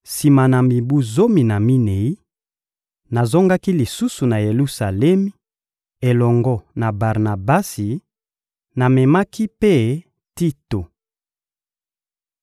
Sima na mibu zomi na minei, nazongaki lisusu na Yelusalemi elongo na Barnabasi; namemaki mpe Tito.